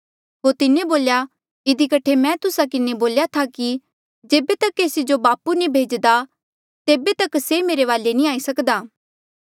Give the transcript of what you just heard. होर तिन्हें बोल्या इधी कठे मैं तुस्सा किन्हें बोल्या था कि जेबे तक केसी जो बापू नी भेज्दा तेबे तक से मेरे वाले नी आई सकदा